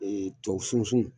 Tuwawu sunsun